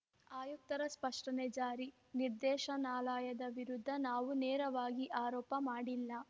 ಆಯುಕ್ತರ ಸ್ಪಷ್ಟನೆ ಜಾರಿ ನಿರ್ದೇಶನಾಲಯದ ವಿರುದ್ಧ ನಾವು ನೇರವಾಗಿ ಆರೋಪ ಮಾಡಿಲ್ಲ